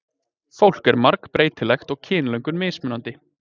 Fólk er margbreytilegt og kynlöngun mismunandi.